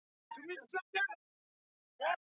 Aðspurður um starf hans við bygginguna, segir